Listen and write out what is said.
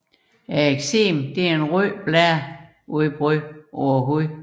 Eksemen er et rødt blære udbrud på huden